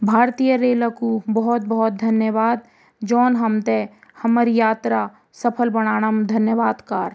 भारतीय रेल कु भौत भौत धन्यवाद जौन हमथे हमरी यात्रा सफल बणाण म धन्यवाद कार।